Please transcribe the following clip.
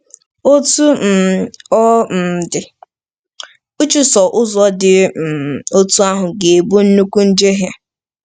Otú um ọ um dị, ịchụso ụzọ dị um otú ahụ ga-abụ nnukwu njehie.